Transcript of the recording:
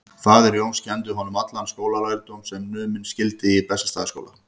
Faðir Jóns kenndi honum allan skólalærdóm sem numinn skyldi í Bessastaðaskóla.